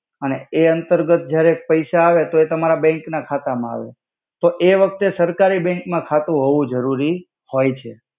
અને એ અંતર્ગત જ્યારે પૈસા આવે તો એ તમારા બેંક ના ખાતા મા આવે તો એ વખ્તે સરકારી બેંક મા ખાતુ હોવુ જરુરી હોય છે.